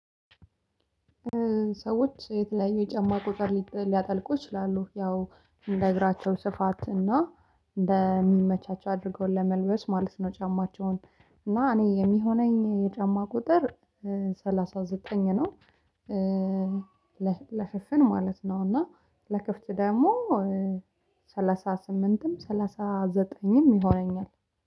ሰዎች የተለያዩ የጫማ ቁጥር ሊያጠልቁ ይችላሉ ያው እንደ እግራቸው ስፋት እና እንደሚመቻቸው አድርገው ለመልበስ ማለት ነው። ጫማቸውን እና እኔ የሚሆነኝ የጫማ ቁጥር ሰላሳ ዘጠኝ ነው። ለሽፍን ማለት ነው እና ለክፍት ደግሞ ሰላሳ ስምንትም ሰላሳ ዘጠኝም ይሆነኛል